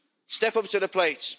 Step up to the plate.